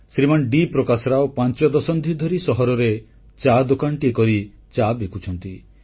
ଶ୍ରୀମାନ୍ D Prakash Rao ପାଞ୍ଚ ଦଶନ୍ଧି ଧରି ସହରରେ ଚା ଦୋକାନଟିଏ କରି ଚା ବିକୁଛନ୍ତି